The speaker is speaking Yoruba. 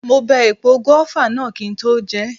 Mo bẹ epo gùáfà náà kí n tó jeẹ̀